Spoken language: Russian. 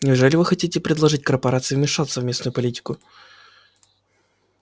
неужели вы хотите предложить корпорации вмешаться в местную политику